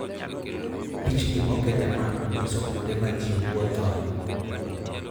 Pichni moket e map nyiso kuonde ma ji wuothoe.